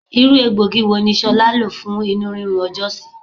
Irú egbògi wo ni ṣolá lo fún inurinrun ọjọ́ sí?